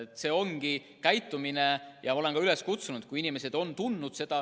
See ongi õige käitumine ja ma olen sellele ka üles kutsunud, et kui inimesed on seda tundnud.